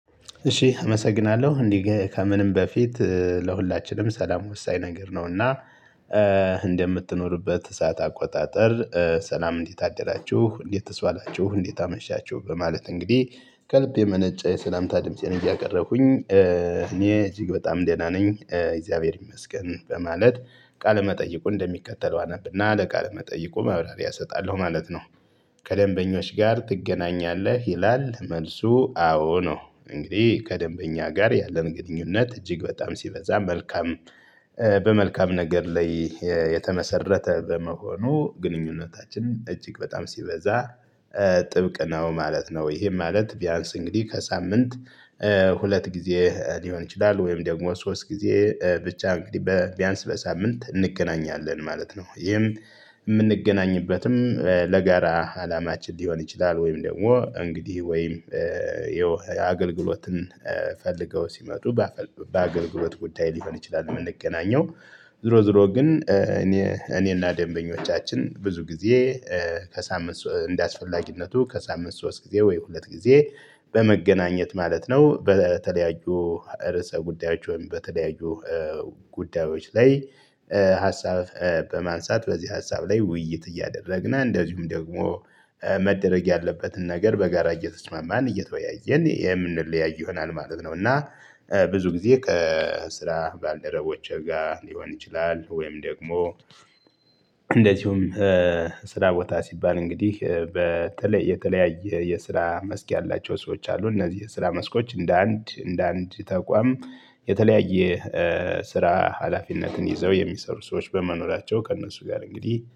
እሺ እመሰግናለሁ እንዲህ ከምንም በፊት ለሁላችንም ሰላም ወሳኝ ነገር ነው እና። ሰዓት አቆጣጠር ሰላም እንዴት አደራችሁ እንዴትስ ዋላችሁ እንዴት አመሻችሁ በማለት እንግዲህ ከልብ የመነጨ የሰላምታ ድምፄን እያቀረብኩኝ እኔ እጅግ በጣም ደህና ነኝ እግዚአብሔር ይመስገን በማለት ቃለ መጠይቁን እንደሚከተለው አነብና ለቃለ መጠይቁ መብራሪያ እሰጣለሁ ማለት ነው። ከደንበኞች ጋር ትገናኛለህ ይላል መልሱ አዎ ነው። እንግዲህ ከደንበኛ ጋር ያለን ግንኙነት እጅግ በጣም ሲበዛ መልካም። በመልካም ነገር ላይ የተመሰረተ በመሆኑ ግንኙነታችን እጅግ በጣም ሲበዛ ጥብቅ ነው ማለት ነው። ይሄ ማለት ቢያንስ እንግዲህ ከሳምንት ሁለት ጊዜ ሊሆን ይችላል ወይም ደግሞ ሶስት ጊዜ ብቻ እንግዲህ በቢያንስ በሳምንት እንገናኛለን ማለት ነው። ይህም የምንገናኝበትም ለጋራ አላማችን ሊሆን ይችላል ወይም ደግሞ እንግዲህ ወይም ይኸው የአገልግሎትን ፈልገው ሲመጡ በአገልግሎት ጉዳይ ሊሆን ይችላል። የምንገናኘው ዞሮ ዞሮ ግን እኔና ደንበኞቻችን ብዙ ጊዜ ከሳምንት እንደአስፈላጊነቱ ከሳምንት ሶስት ጊዜ ወይ ሁለት ጊዜ በመገናኘት ማለት ነው። በተለያዩ ርዕሰ ጉዳዮች ወይም በተለያዩ ጉዳዮች ላይ ሀሳብ በማንሳት በዚህ ሀሳብ ላይ ውይይት እያደረግና እንደዚሁም ደግሞ መደረግ ያለበትን ነገር በጋራ እየተስማማን እየተወያየን የምንለያይ ይሆናል ማለት ነው። እና ብዙ ጊዜ ከስራ ባልደረቦችህ ጋር ሊሆን ይችላል። ወይም ደግሞ እንደዚሁም ስራ ቦታ ሲባል እንግዲህ በተለይ የተለያየ የስራ መስክ ያላቸው ሰዎች አሉ። እነዚህ የስራ መስኮች እንደ አንድ እንደ አንድ ተቋም የተለያየ ስራ ሀላፊነትን ይዘው የሚሰሩ ሰዎች በመኖራቸው ከእነሱ ጋር እንግዲህ